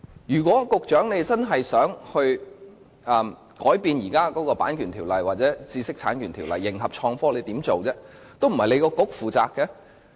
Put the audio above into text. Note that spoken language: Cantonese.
如果局長真的想修訂現時的《版權條例》或知識產權法來迎合創科的發展，他可以做些甚麼？